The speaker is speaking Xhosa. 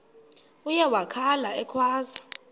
uye wakhala ekhwaza